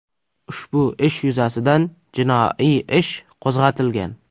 Ushbu ish yuzasidan jinoiy ish qo‘zg‘atilgan.